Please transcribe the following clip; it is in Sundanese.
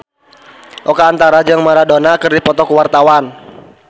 Oka Antara jeung Maradona keur dipoto ku wartawan